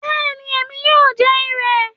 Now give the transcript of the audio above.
Bẹ́ẹ̀ni, èmi yóò jẹ ìrẹ̀